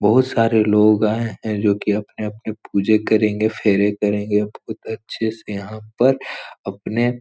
बहुत सारे लोग आए हैं जो की अपने अपने पूजा करेंगे फेरे करेंगे बहुत अच्छे से यहाँ पर अपने --